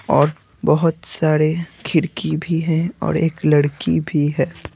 और बहुत सारे खिरकी भी हैं और एक लड़की भी है।